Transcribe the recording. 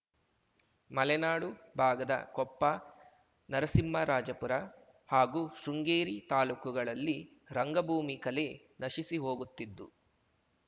ಮಲೆನಾಡು ಭಾಗದ ಕೊಪ್ಪ ನರಸಿಂಹರಾಜಪುರ ಹಾಗೂ ಶೃಂಗೇರಿ ತಾಲೂಕುಗಳಲ್ಲಿ ರಂಗಭೂಮಿ ಕಲೆ ನಶಿಸಿ ಹೋಗುತ್ತಿದ್ದು